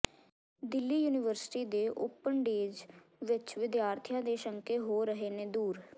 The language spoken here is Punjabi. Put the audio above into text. ਦਿੱਲੀ ਯੂਨੀਵਰਸਿਟੀ ਦੇ ਓਪਨ ਡੇਜ਼ ਵਿਚ ਵਿਦਿਆਰਥੀਆਂ ਦੇ ਸ਼ੰਕੇ ਹੋ ਰਹੇ ਨੇ ਦੂਰ